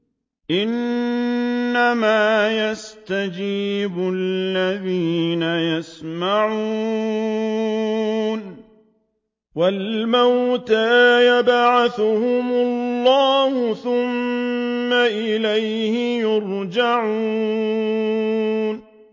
۞ إِنَّمَا يَسْتَجِيبُ الَّذِينَ يَسْمَعُونَ ۘ وَالْمَوْتَىٰ يَبْعَثُهُمُ اللَّهُ ثُمَّ إِلَيْهِ يُرْجَعُونَ